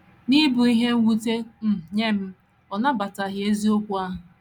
N’ịbụ ihe mwute um nye m, ọ nabataghị eziokwu ahụ.